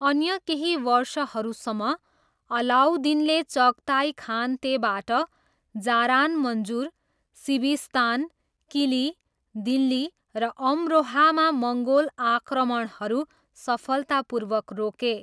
अन्य केही वर्षहरूसम्म, अलाउद्दिनले चगताई खानतेबाट जारान मन्जुर, सिभिस्तान, किली, दिल्ली र अमरोहामा मङ्गोल आक्रमणहरू सफलतापूर्वक रोके।